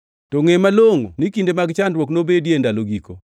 To ngʼe malongʼo ni kinde mag chandruok nobedie e ndalo giko.